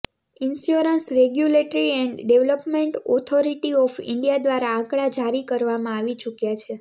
insurance regulatory and development authority of India દ્વારા આંકડા જારી કરવામાં આવી ચુક્યા છે